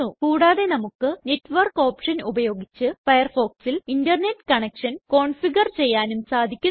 കൂടാതെ നമുക്ക് network option ഉപയോഗിച്ച് Firefoxൽ ഇന്റർനെറ്റ് കണക്ഷൻ കോൺഫിഗർ ചെയ്യാനും സാധിക്കുന്നു